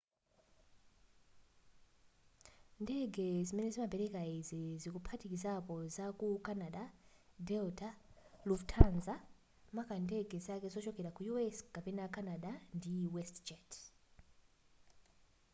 ndege zimene zimapeleka izi zikuphatikizapo za ku canada delta lufthansa maka ndege zake zochokera ku u.s. kapena canada ndi westjet